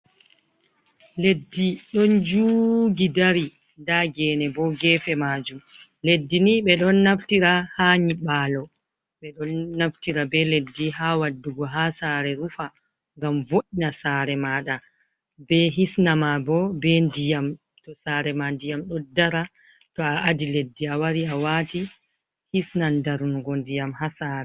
Leddi ɗon juugi dari nda genebo gefe majum. Leddi nii ɓeɗon naftiri haa nyiɓalo, ɓeɗon naftira be leddi haa waddugo haa saare rufa, ngam vo'ina saare ma ɗa, ɓe hisnama bo ɓe ndiyam, saare ma ndiyam ɗo dara to a adi leddi awari awati hinan darnugo ndiyam haa saare.